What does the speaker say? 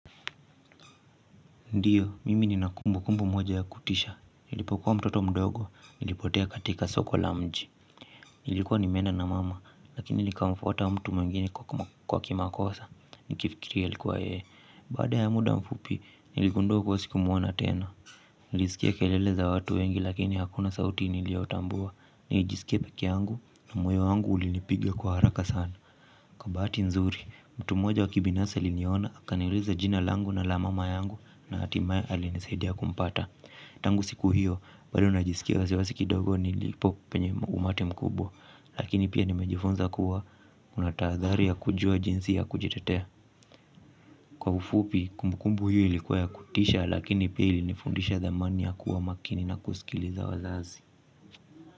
Ndiyo, mimi nina kumbu kumbu moja ya kutisha. Nilipokuwa mtoto mdogo, nilipotea katika soko la mji. Nilikuwa nimeenda na mama, lakini nilikamfuata mtu mwingine kwa kimakosa. Nikifikiri alikuwa yeye. Baada ya muda mfupi, niligundua kuwa sikumuona tena. Nilisikia kelele za watu wengi lakini hakuna sauti nilioyotambua. Nilijiskia peke yangu na moyo wangu ulinipiga kwa haraka sana kwa bahati nzuri, mtu moja wa kibinafsi aliniona, aniuliza jina langu na la mama yangu na hatimaye alinisaidia kumpata. Tangu siku hiyo, bado najisikia wasi wasi kidogo nilipo penye umati mkubwa, lakini pia nimejifunza kuwa na tahathari ya kujua jinsi ya kujitetea. Kwa ufupi, kumbukumbu hiyo ilikuwa ya kutisha lakini pia ilifundisha thamani ya kuwa makini na kusikiliza wazazi.